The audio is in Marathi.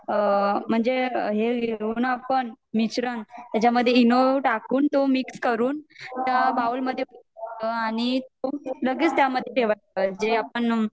म्हणजे हे घेतो ना आपण मिश्रण त्याच्या मध्ये एंनो टाकून तो मिक्स करून त्या बाउल मध्ये आणि तो लगेच त्या मध्ये ठेवायचं आणि जे आपण